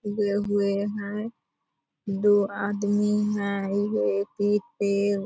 उगे हुए हैं दो आदमी हैं एक ही पेड़ --